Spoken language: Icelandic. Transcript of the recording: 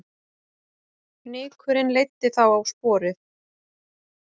Fnykurinn leiddi þá á sporið